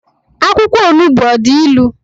Akwụkwọ onugbu ọ dị ilu?